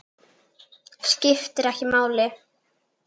Skiptir ekki máli.